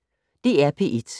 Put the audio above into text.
DR P1